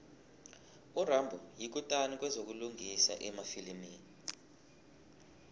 urambo yikutani kwezokulingisa emafilimini